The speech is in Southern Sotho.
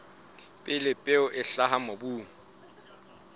pele peo e hlaha mobung